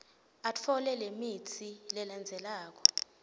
atfole lemitsi lelandzelako